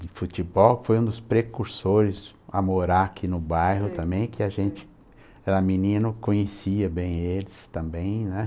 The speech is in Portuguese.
de futebol, que foi um dos precursores a morar aqui no bairro também, que a gente era menino, conhecia bem eles também, né?